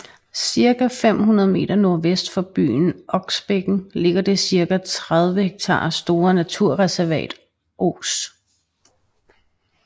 Cirka 500 meter nordvest for byen omkring Oksbækken ligger det cirka 30 ha store naturreservat Ås